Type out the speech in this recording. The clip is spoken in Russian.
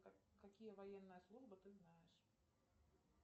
какие военные службы ты знаешь